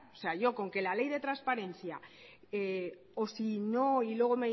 yo con que la ley de transparencia o si no y luego